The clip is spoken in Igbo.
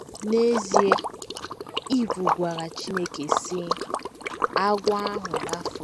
N’ezie, Iv gwara Chineke, sị: ‘ Agwọ ahụ rafuru m. ’